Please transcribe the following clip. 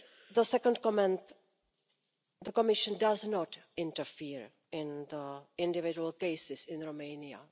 The second comment the Commission does not interfere in individual cases in Romania.